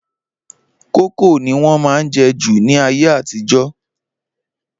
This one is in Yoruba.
Kókò ni wọ́n má ń jẹ́ jù ní ayé àtijọ́